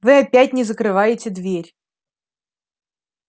вы опять не закрываете дверь